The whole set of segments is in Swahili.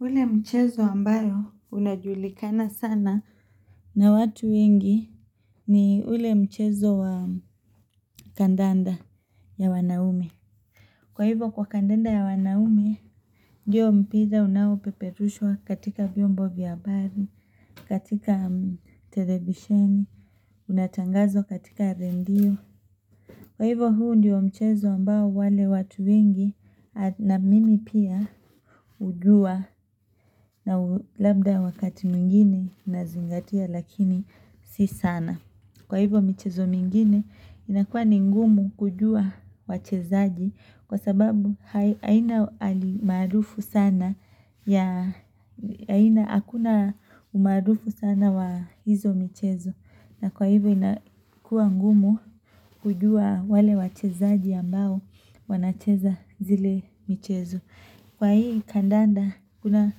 Ule mchezo ambayo unajulikana sana na watu wengi ni ule mchezo wa kandanda ya wanaume. Kwa hivyo kwa kandanda ya wanaume, ndiyo mpiza unawo peperushwa katika viombo via habari, katika television, unatangazo katika rendio. Kwa hivyo huu ndiyo mchezo ambao wale watu wengi na mimi pia ujua na labda wakati muingine nazingatia lakini si sana. Kwa hivyo mchezo mingine inakua ni ngumu kujua wachezaji kwa sababu haina alimarufu sana ya haina akuna umarufu sana wa hizo michezo. Na kwa hivyo inakua ngumu kujua wale wachezaji ambao wanacheza zile michezo. Kwa hii kandanda kuna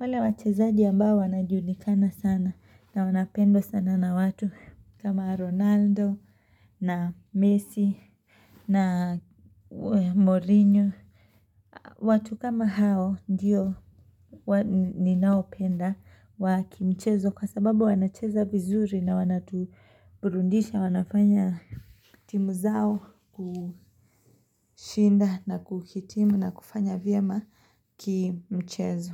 wale wachezaji ambao wanajulikana sana na wanapendwa sana na watu kama Ronaldo na Messi na Mourinho. Watu kama hao ndiyo ninaopenda wa kimchezo kwa sababu wanacheza vizuri na wanatuburundisha wanafanya timu zao kushinda na kukitimu na kufanya vyema kimchezo.